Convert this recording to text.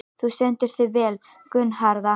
Þú stendur þig vel, Gunnharða!